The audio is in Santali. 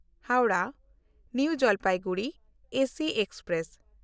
Howrah-New Jalpaiguri AC express